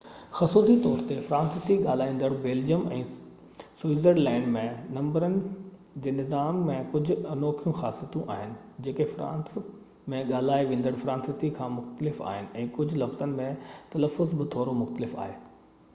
خصوصي طور تي فرانسيسي ڳالهائيندڙ بيلجيم ۽ سوئٽزرلينڊ ۾ نمبرن جي نظام ۾ ڪجهه انوکيون خاصيتون آهن جيڪي فرانس ۾ ڳالهائي ويندڙ فرانسيسي کان مختلف آهن ۽ ڪجهه لفظن جو تلفظ به ٿورو مختلف آهي